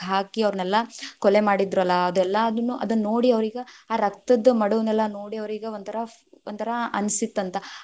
ಹಾಕಿ ಅವರ್ನೆಲ್ಲ ಕೊಲೆ ಮಾಡಿದ್ರಲ್ಲ ಅದೆಲ್ಲದನ್ನು, ಅದನ್ ನೋಡಿ ಅವ್ರಿಗ್‌ ಆ ರಕ್ತದ್ದ ಮಡುವನೆಲ್ಲಾ ನೋಡಿ ಅವ್ರೀಗ್‌ ಒಂಥರಾ ಒಂಥರಾ ಅನ್ಸಿತ್ತಂತ.